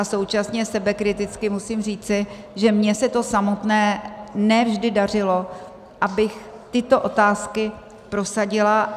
A současně sebekriticky musím říci, že mně se to samotné ne vždy dařilo, abych tyto otázky prosadila.